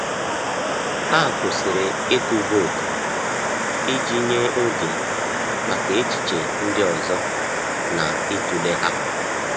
Ha kwụsịrị ịtụ vootu iji nye oge maka echiche ndị ọzọ na ịtụle ha.